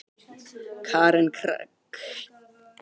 Karen Kjartansdóttir: Hver telur þú vilja hans vera?